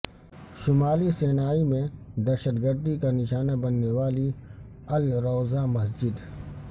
شمالی سینائی میں دہشت گردی کا نشانہ بننے والی ال روضا مسجد